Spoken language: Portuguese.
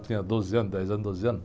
Eu tinha doze anos, dez anos, doze anos.